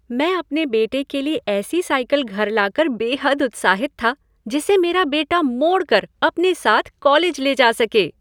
मैं अपने बेटे के लिए ऐसी साइकिल घर ला कर बेहद उत्साहित था जिसे मेरा बेटा मोड़ कर अपने साथ कॉलेज ले जा सके।